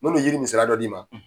Me n'o yiri nin misaliya dɔ d'i ma.